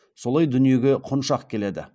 солай дүниеге құншақ келеді